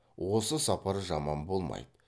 осы сапар жаман болмайды